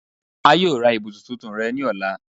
A yoo ra ibusun tuntun rẹ ni ọla